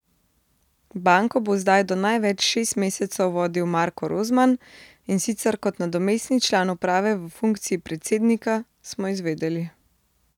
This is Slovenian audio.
Banko bo zdaj do največ šest mesecev vodil Marko Rozman, in sicer kot nadomestni član uprave v funkciji predsednika, smo izvedeli.